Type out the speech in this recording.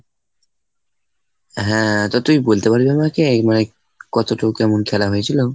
হ্যাঁ তো তুই বলতে পারবি আমাকে মানে কতটুকু কেমন খেলা হয়েছিল?